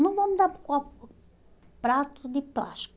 Não vamos dar copo prato de plástico.